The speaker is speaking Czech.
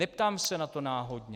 Neptám se na to náhodně.